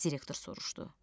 Direktor soruşdu.